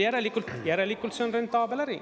Järelikult see on rentaabel äri.